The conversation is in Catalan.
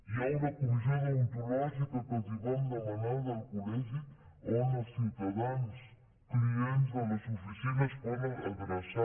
hi ha una comissió deontològica que els vam demanar del col·legi on els ciutadans clients de les oficines es poden adreçar